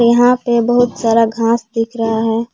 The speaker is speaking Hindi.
यहां पे बहुत सारा घास दिख रहा है।